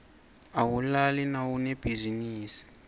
awulali nawunebhizinisi